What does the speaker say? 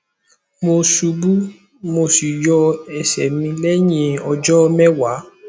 mo ṣubu mo sì yọ ẹsẹ mi lẹyìn ọjọ mẹwàá